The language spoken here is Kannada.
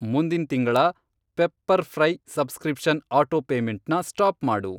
ಮುಂದಿನ್ ತಿಂಗಳ ಪೆಪ್ಪರ್ಫ್ರೈ ಸಬ್ಸ್ಕ್ರಿಪ್ಷನ್ ಅಟೋಪೇಮೆಂಟ್ನ ಸ್ಟಾಪ್ ಮಾಡು.